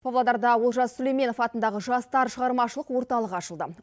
павлодарда олжас сүлейменов атындағы жастар шығармашылық орталығы ашылды